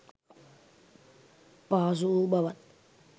පහසු වූ බවත්